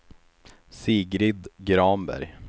Sigrid Granberg